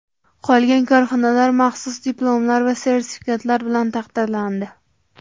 Qolgan korxonalar maxsus diplomlar va sertifikatlar bilan taqdirlandi.